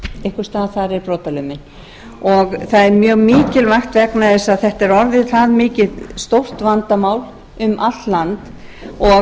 einhvers staðar þar er brotalömin það er mjög mikilvægt vegna þess að þetta er orðið það stórt vandamál um allt land og